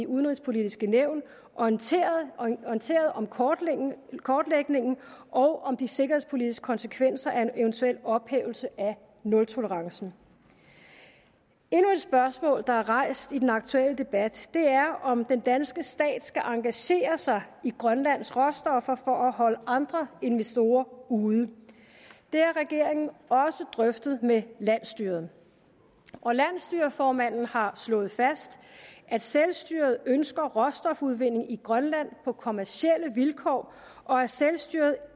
udenrigspolitiske nævn orienteret om kortlægningen og om de sikkerhedspolitiske konsekvenser af en eventuel ophævelse af nultolerancen endnu et spørgsmål der er rejst i den aktuelle debat er om den danske stat skal engagere sig i grønlands råstoffer for at holde andre investorer ude det har regeringen også drøftet med landsstyret og landsstyreformanden har slået fast at selvstyret ønsker råstofudvinding i grønland på kommercielle vilkår og at selvstyret